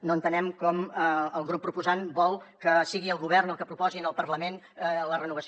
no entenem com el grup proposant vol que sigui el govern el que proposi al parlament la renovació